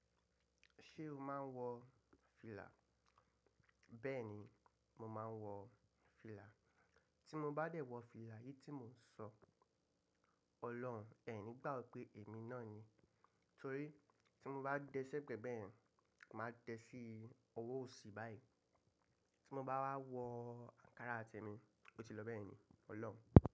Ṣé o máa ń wọ fìlà? Bẹ́ẹ̀ni, mo máa ń wọ fìlà. Tí mo bá dẹ̀ wọ fìlà, èyí tí mo ń sọ, Ọlọ́run, ẹ ní gbà ọ pé èmi náà ni. Torí tí mo bá dẹ́ṣẹ̀ gbẹ́gbẹ́ ẹ̀, màá dẹ́ sí owó òsì báyìí. Tí mo bá wá wọ àǹkárá tèmi, ó ti lọ bẹ́ẹ̀ ni, Ọlọ́run.